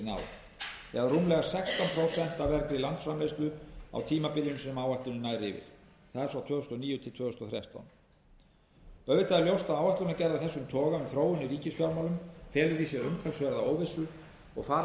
af vergri landsframleiðslu á tímabilinu sem áætlunin nær yfir það er tvö þúsund og níu til tvö þúsund og þrettán auðvitað er ljóst að áætlanagerð af þessum toga um þróun í ríkisfjármálum felur í sér umtalsverða óvissu og fara þarf